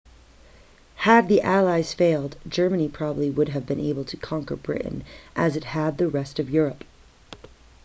had the allies failed germany probably would have been able to conquer britain as it had the rest of europe